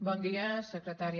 bon dia secretària